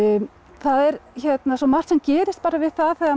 það er svo margt sem gerist við það það að